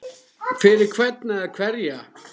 Fyrir hvern eða hverja?